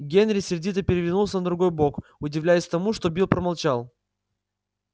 генри сердито перевернулся на другой бок удивляясь тому что билл промолчал